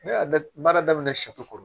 Ne y'a da baara daminɛ